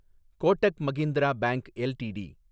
Kotak Mahindra bank LTD